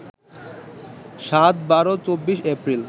৭, ১২, ২৪ April